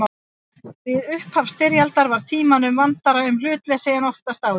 Við upphaf styrjaldar var Tímanum vandara um hlutleysið en oftast áður.